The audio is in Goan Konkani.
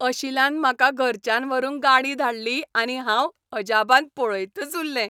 अशिलान म्हाका घराच्यान व्हरूंक गाडी धाडली आनी हांव अजापान पळयतच उरलें.